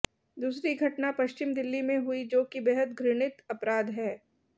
दूसरी घटना पश्चिमी दिल्ली में हुई जो कि बेहद घृणित अपराध है